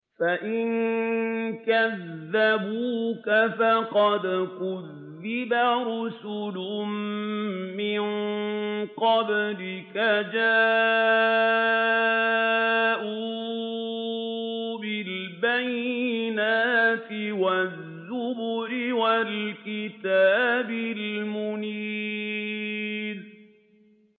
فَإِن كَذَّبُوكَ فَقَدْ كُذِّبَ رُسُلٌ مِّن قَبْلِكَ جَاءُوا بِالْبَيِّنَاتِ وَالزُّبُرِ وَالْكِتَابِ الْمُنِيرِ